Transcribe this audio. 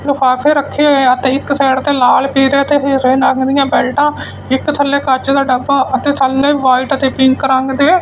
ਲਿਫਾਫੇ ਰੱਖੇ ਹੋਏ ਆ ਤੇ ਇੱਕ ਸਾਈਡ ਤੇ ਲਾਲ ਪੀਲੇ ਤੇ ਹਰੇ ਰੰਗ ਦੀਆਂ ਬੈਲਟਾਂ ਇੱਕ ਥੱਲੇ ਕੱਚ ਦਾ ਡੱਬਾ ਅਤੇ ਥੱਲੇ ਵਾਈਟ ਤੇ ਪਿੰਕ ਰੰਗ ਦੇ--